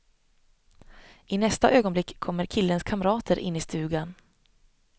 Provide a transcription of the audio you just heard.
I nästa ögonblick kommer killens kamrater in i stugan.